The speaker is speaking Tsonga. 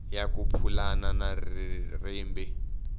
ya ku pulana na rimba